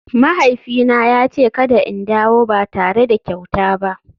Mahaifina ya ce kada in dawo ba tare da kyauta ba.